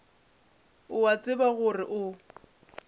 o a tseba gore o